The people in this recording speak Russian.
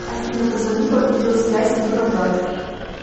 афина позвони по видео связи юра брат